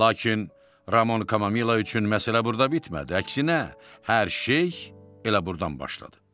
Lakin Ramon Kamamila üçün məsələ burda bitmədi, əksinə hər şey elə burdan başladı.